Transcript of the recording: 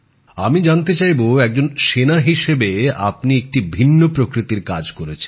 আমি জানতে চাইব একজন সৈনিক হিসেবে আপনি একটি ভিন্ন প্রকৃতির কাজ করেছেন